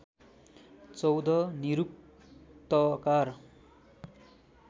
१४ निरुक्तकार